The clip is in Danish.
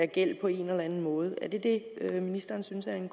gæld på en eller anden måde er det det ministeren synes er en